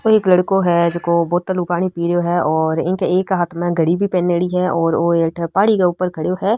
एक लड़को है जको बोतल में पानी पि रेहो है और इनके एक हाथ में घड़ी भी पेहेनेडी है और और अठे पहाड़ी के ऊपर खड़यो है।